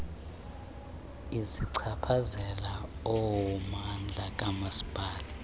ezichaphazela ummandla kamasipala